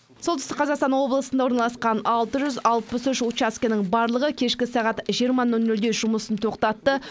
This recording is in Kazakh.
солтүстік қазақстан облысында орналасқан алты жүз алпыс үш учаскенің барлығы кешкі сағат жиырма нөл нөлде жұмысын тоқтатты